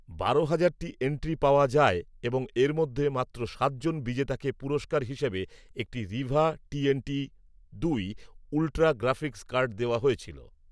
বারো হাজারটি এন্ট্রি পাওয়া যায় এবং এর মধ্যে মাত্র সাতজন বিজেতাকে পুরস্কার হিসেবে একটি রিভা টিএনটি দুই উল্ট্রা গ্রাফিক্স কার্ড দেওয়া হয়েছিল